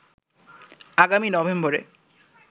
আগামী নভেম্বরে